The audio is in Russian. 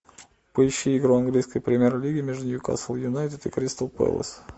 поищи игру английской премьер лиги между ньюкасл юнайтед и кристал пэлас